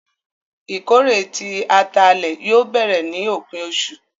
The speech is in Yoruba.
Ìkórè tí àtálẹ yóò bẹ̀rẹ̀ ni opin ọṣu.